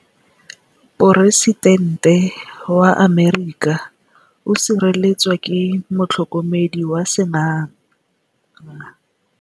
Poresitêntê wa Amerika o sireletswa ke motlhokomedi wa sengaga.